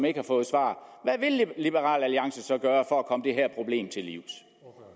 ikke har fået svar hvad vil liberal alliance så gøre for at komme det her problem til livs